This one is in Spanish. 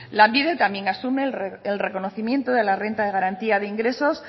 lanbide también asume el reconocimiento de la renta de garantía de ingresos